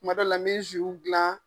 Kuma dɔw la, n be gilan.